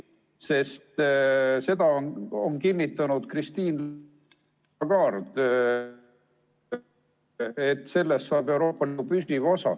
Sest Christine Lagarde on kinnitanud, et sellest saab Euroopas Liidu püsiv osa.